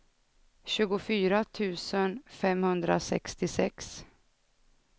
tjugofyra tusen femhundrasextiosex